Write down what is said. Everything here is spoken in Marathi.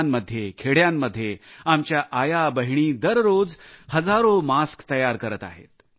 गावांध्ये खेड्यांमध्ये आमच्या आयाबहिणी दररोज हजारो मास्क तयार करत आहेत